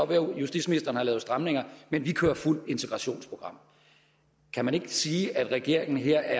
være justitsministeren har lavet stramninger men de kører fuldt integrationsprogram kan man ikke sige at regeringen her